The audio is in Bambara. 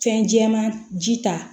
Fɛn jɛman ji ta